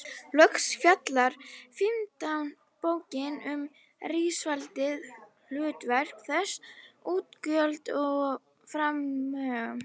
Loks fjallar fimmta bókin um ríkisvaldið, hlutverk þess, útgjöld og fjármögnun.